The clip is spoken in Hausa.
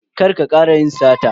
Kar ka kara yin sata.